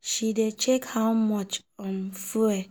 she dey check how much um fuel